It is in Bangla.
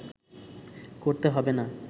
করতে হবে না